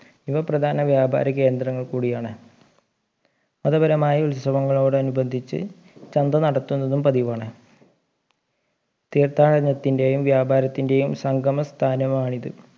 ഇവ പ്രധാന വ്യാപാര കേന്ദ്രങ്ങൾ കൂടിയാണ് മതപരമായ ഉത്സവങ്ങളോട് അനുബന്ധിച്ച് ചന്ത നടത്തുന്നതും പതിവാണ് തീർത്ഥാടനത്തിൻ്റെയും വ്യാപാരത്തിൻ്റെയും സങ്കമ സ്ഥാനമാണിത്